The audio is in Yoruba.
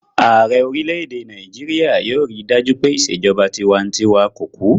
Ààrẹ orílẹ̀-èdè Nàìjíríyà yóò rí dájú pé ìṣèjọba tinwatinwa kò kú